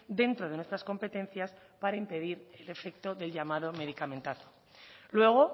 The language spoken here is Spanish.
dentro de nuestras competencias para impedir el efecto del llamado medicamentazo luego